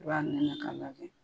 I b'a nɛnɛ ka lajɛ .